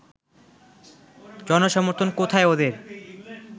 জনসমর্থন কোথায় ওদের